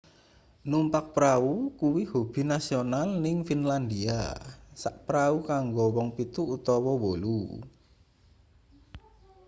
numpak prau kuwi hobi nasional ning finlandia sak prau kanggo wong pitu utawa wolu